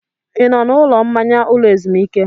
Ị nọ na ụlọ mmanya ụlọ ezumike?